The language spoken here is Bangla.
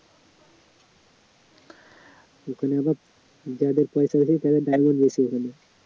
ওখানে আবার যাদের পয়সা আছে তারা বেশি ওখানে